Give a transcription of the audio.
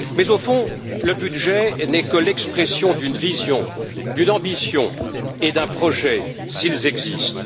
Mais au fond, le budget n'est que l'expression d'une vision, d'une ambition et d'un projet, s'ils existent.